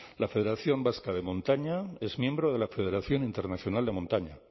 la federación vasca de montaña es miembro de la federación internacional de montaña